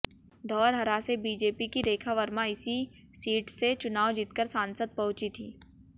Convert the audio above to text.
धौरहरा से बीजेपी की रेखा वर्मा इसी सीट से चुनाव जीतकर सांसद पहुंची थीं